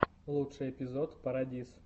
лучший эпизод парадиз